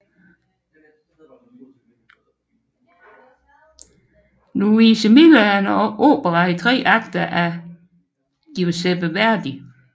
Luisa Miller er en opera i tre akter af Giuseppe Verdi